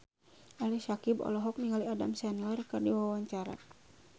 Ali Syakieb olohok ningali Adam Sandler keur diwawancara